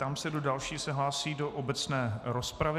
Ptám se, kdo další se hlásí do obecné rozpravy.